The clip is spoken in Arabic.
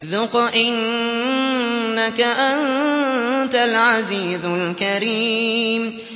ذُقْ إِنَّكَ أَنتَ الْعَزِيزُ الْكَرِيمُ